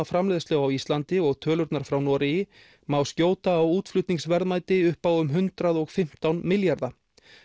framleiðslu á Íslandi og tölurnar frá Noregi má skjóta á útflutningsverðmæti upp á um hundrað og fimmtán milljarða